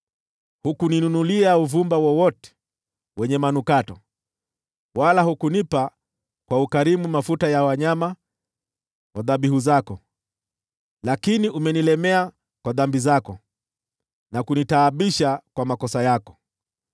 Hukuninunulia uvumba wowote wenye manukato, wala hukunipa kwa ukarimu mafuta ya wanyama wa dhabihu zako. Lakini umenilemea kwa dhambi zako, na kunitaabisha kwa makosa yako.